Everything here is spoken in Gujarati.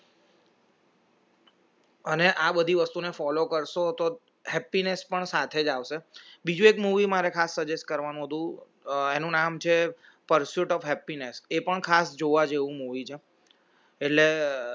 અને આ બધી વસ્તુને follow કરશો તો happiness પણ સાથે જ આવશે બીજું એક movie મારે ખાસ suggest કરવાનું હતું એનું નામ છે pursuit of happiness એ પણ ખાસ જોવા જેવું મુવી છે